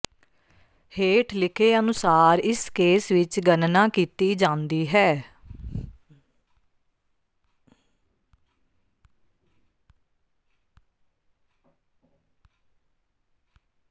ਹੇਠ ਲਿਖੇ ਅਨੁਸਾਰ ਇਸ ਕੇਸ ਵਿੱਚ ਗਣਨਾ ਕੀਤੀ ਜਾਂਦੀ ਹੈ